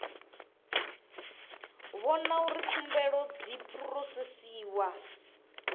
vhona uri khumbelo dzi phurosesiwa